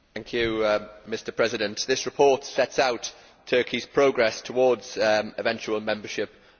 Mr President, this report sets out Turkey's progress towards eventual membership of the EU.